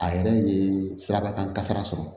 A yɛrɛ ye sirabakan kasara sɔrɔ